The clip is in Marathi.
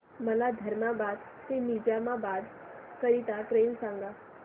मला धर्माबाद ते निजामाबाद करीता ट्रेन सांगा